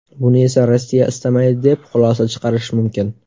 Buni esa Rossiya istamaydi, deb xulosa chiqarish mumkin.